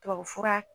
Tubabufura